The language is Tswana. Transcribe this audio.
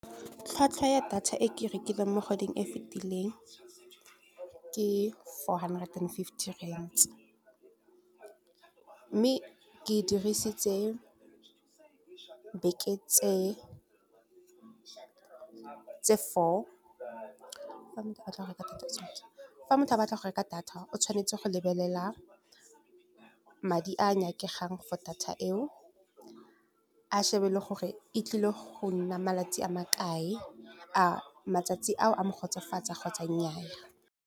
Tlhwatlhwa ya data e ke e rekileng mo godimo e e fetileng ke four hundred and fifty rands. Mme ke dirisitse beke tse four, fa motho a batla go reka data fa motho a batla go reka data, o tshwanetse go lebelela madi a nyakega for data eo. A shebe le gore e tlile gonna malatsi a makae, a matsatsi a mo kgotsofatsa kgotsa nnyaa.